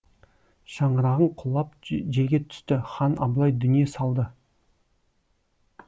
шаңырағың құлап жерге түсті хан абылай дүние салды